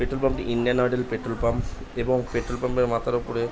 petrol pump টি Indian ওডেল petrol pump এবং পেট্রোল পাম্প এর মাথার ওপরে --